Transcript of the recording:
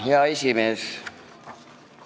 Hea esimees!